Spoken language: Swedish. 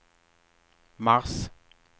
mars